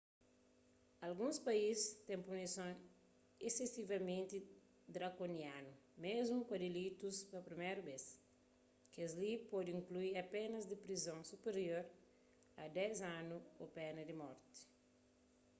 alguns país têm punisons isesivamenti drakonianu mésmu pa dilitus pa priméru bês kes-li pode inklui penas di prizon supirior a 10 anu ô pena di morti